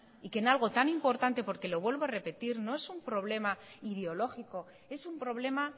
y que en algo tan importante porque lo vuelvo a repetir no es un problema ideológico es un problema